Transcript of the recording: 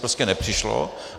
Prostě nepřišlo.